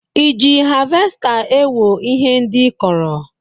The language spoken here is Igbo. Ị ji havesta ewo ihe ndị ị kọrọ?